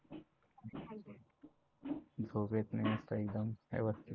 झोप येत नाही मस्त एकदम व्यवस्थित